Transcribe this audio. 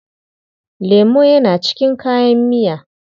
Lemo yana cikin kayan miya.